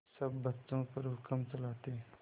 सब बच्चों पर हुक्म चलाते